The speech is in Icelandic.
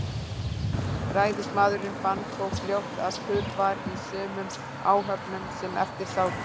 Ræðismaðurinn fann þó fljótt, að kurr var í sumum áhöfnunum, sem eftir sátu.